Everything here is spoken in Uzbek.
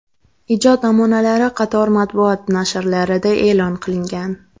Ijod namunalari qator matbuot nashrlarida e’lon qilingan.